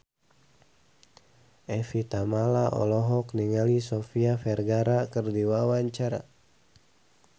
Evie Tamala olohok ningali Sofia Vergara keur diwawancara